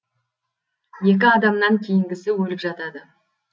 екі адамнан кейінгісі өліп жатады